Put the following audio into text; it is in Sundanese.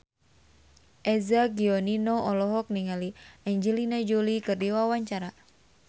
Eza Gionino olohok ningali Angelina Jolie keur diwawancara